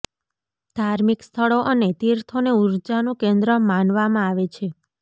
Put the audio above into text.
ધાર્મિક સ્થળો અને તીર્થોને ઊર્જાનું કેન્દ્ર માનવામાં આવે છે